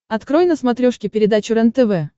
открой на смотрешке передачу рентв